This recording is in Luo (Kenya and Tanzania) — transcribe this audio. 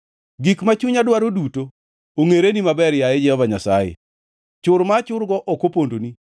Gik ma chunya dwaro duto ongʼereni maber, yaye Jehova Nyasaye; chur ma achurgo ok opondoni.